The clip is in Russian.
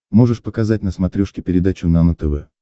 можешь показать на смотрешке передачу нано тв